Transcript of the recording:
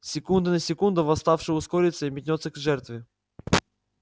с секунды на секунду восставший ускорится и метнётся к жертве